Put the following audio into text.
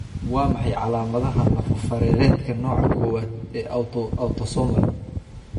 Waa maxay calamadaha iyo calaamadaha lafo-fareereedka nooca kowad-aad ee autosomal autosomal?